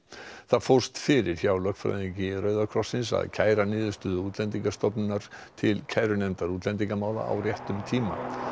það fórst fyrir hjá lögfræðingi Rauða krossins að kæra niðurstöðu Útlendingastofnunar til kærunefndar útlendingamála á réttum tíma